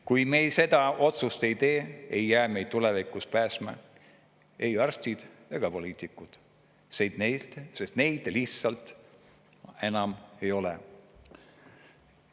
Kui me seda otsust ei tee, ei päästa meid tulevikus ei arstid ega poliitikud, sest neid lihtsalt enam ei ole.